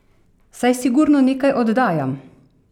Saj sigurno nekaj oddajam!